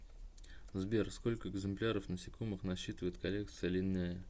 сбер сколько экземпляров насекомых насчитывает коллекция линнея